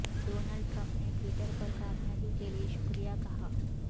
Donald Trump نے Twitter پر کامیابی کے لیے شکریہ کہا